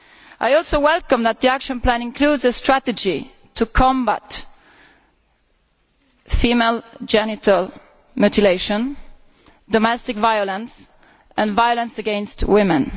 I also welcome the fact that the action plan includes a strategy to combat female genital mutilation, domestic violence and violence against women.